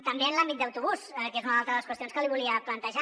també en l’àmbit d’autobús que és una altra de les qüestions que li volia plantejar